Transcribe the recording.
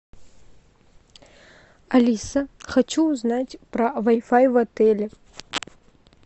алиса хочу узнать про вай фай в отеле